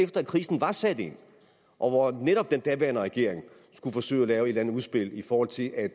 krisen var sat ind og og da netop den daværende regering skulle forsøge at lave et eller andet udspil i forhold til at